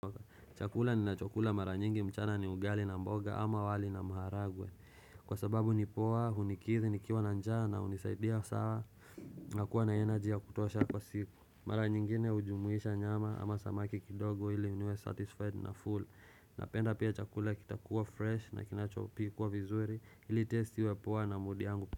Chakula ni nacho kula mara nyingi mchana ni ugali na mboga ama wali na mharagwe Kwa sababu ni poa, unikithi, nikiwa na njaa na unisaidia sawa nakuwa na energy ya kutosha kwa siku Mara nyingine hujumuisha nyama ama samaki kidogo ili niwe satisfied na full Napenda pia chakula kitakuwa fresh na kinachopikwa vizuri Hili test iwe poa na mudi yangu.